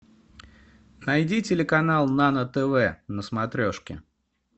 найди телеканал нано тв на смотрешке